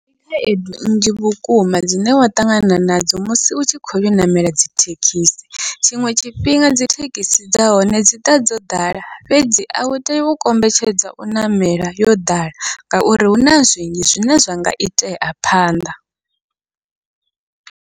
Ndi khaedu nnzhi vhukuma dzine wa ṱangana nadzo musi u tshi khoyo ṋamela dzithekhisi, tshiṅwe tshifhinga dzithekhisi dza hone dziḓa dzo ḓala fhedzi au tei u kombetshedza u ṋamela yo ḓala, ngauri huna zwinzhi zwine zwa nga itea phanḓa.